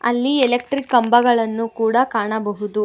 ಅಲ್ಲಿ ಎಲೆಕ್ಟ್ರಿಕ್ ಕಂಬಗಳನ್ನು ಕೂಡ ಕಾಣಬಹುದು.